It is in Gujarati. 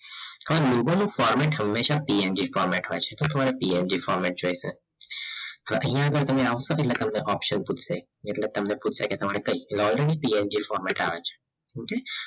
હવે logo નું formate હંમેશા PNG formate હોય છે તો તમારે PNG formate જોઈશે તો અહીંયા આગળ તમે આવશો પૂછશે એટલે તમને option પૂછશે કે તમારે કઈ loyaltyPNG formate આવે છે